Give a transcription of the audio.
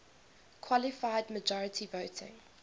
qualified majority voting